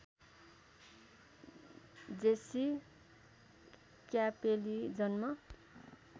Jessie क्यापेली जन्म